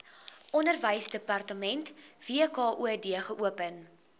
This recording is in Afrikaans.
onderwysdepartement wkod geopen